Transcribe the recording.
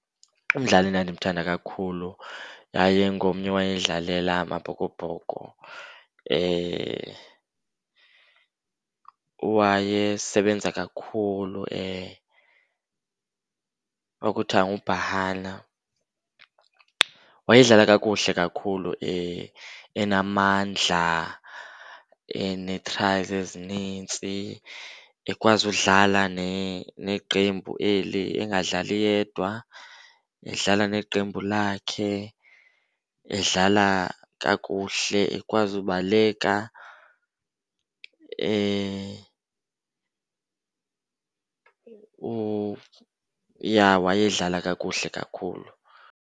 Umdlali endandimthanda kakhulu yayingomnye owayedlalela Amabhokobhoko. Wayesebenza kakhulu, kwakuthiwa nguBhahana. Wayedlala kakuhle kakhulu, enamandla, ene-tries ezinintsi ekwazi udlala neqembu eli, engadlali yedwa edlala neqembu lakhe. Edlala kakuhle, ekwazi ubaleka ja wayedlala kakuhle kakhulu.